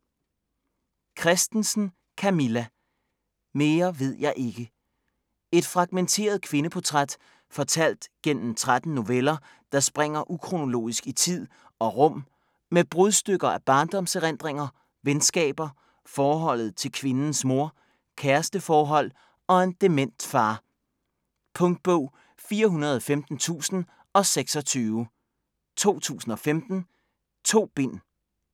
Christensen, Camilla: Mere ved jeg ikke Et fragmenteret kvindeportræt fortalt gennem 13 noveller, der springer ukronologisk i tid og rum med brudstykker af barndomserindringer, venskaber, forholdet til kvindens mor, kæresteforhold og en dement far. Punktbog 415026 2015. 2 bind.